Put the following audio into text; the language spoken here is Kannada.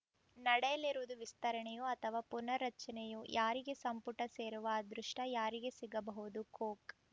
ನಡೆಯಲಿರುವುದು ವಿಸ್ತರಣೆಯೋ ಅಥವಾ ಪುನರ್‌ ರಚನೆಯೋ ಯಾರಿಗೆ ಸಂಪುಟ ಸೇರುವ ಅದೃಷ್ಟ ಯಾರಿಗೆ ಸಿಗಬಹುದು ಕೊಕ್‌